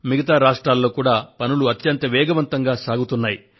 మిగతా రాష్ట్రాల్లో కూడా పనులు అత్యంత వేగవంతంగా సాగుతున్నయి